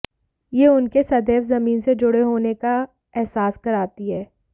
यह उनके सदैव जमीन से जुड़े होने का एहसास कराती है